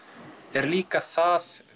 er líka það